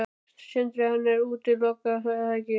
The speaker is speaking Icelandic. Sindri: Þannig að þú útilokar það ekki?